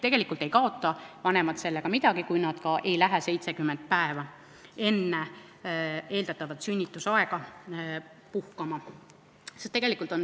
Tegelikult ei kaota vanemad midagi, kui ema ei lähe 70 päeva enne eeldatavat sünnitusaega puhkama.